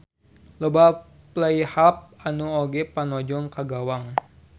Loba fly-half nu oge panajong ka gawang.